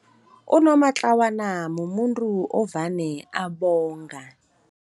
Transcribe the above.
Unomatlawana mumuntu ovane abonga.